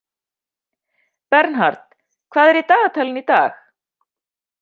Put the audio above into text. Bernhard, hvað er í dagatalinu í dag?